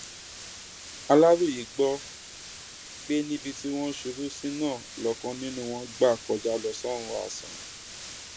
aláròye gbọ pé níbi tí wọn ṣubú sí náà lọkàn nínú wọn gbà kọjá lọ sọrun asán